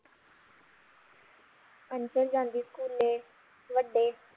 ਜਾਂਦੀ ਸਕੂਲੇ ਵੱਡੇ